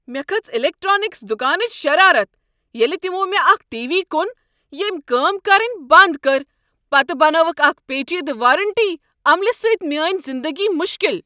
مےٚ کھژ الیکٹرانکس دکانٕچ شرارت ییٚلہ تمو مےٚ اکھ ٹی وی کوٚن ییٚمۍ کٲم کرنۍ بنٛد کٔر تہٕ پتہٕ بنٲوکھ اکہ پیچیدٕ وارنٹی عملہ سۭتۍ میٲنۍ زندگی مشکل۔